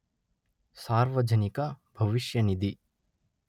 ಸಾರ್ವಜನಿಕ ಭವಿಷ್ಯ ನಿಧಿ.